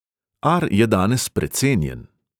Ar je danes precenjen.